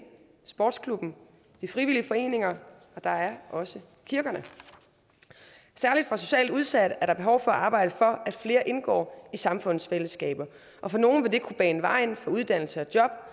sportsklubben de frivillige foreninger og der er også kirkerne særlig for socialt udsatte er der behov for at arbejde for at flere indgår i samfundets fællesskaber og for nogle vil det kunne bane vejen for uddannelse og job